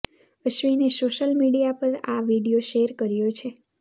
અશ્વિને social media પર આ video share કર્યો છે